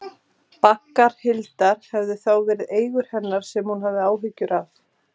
Baggar Hildar hefðu þá verið eigur hennar sem hún hafði áhyggjur af.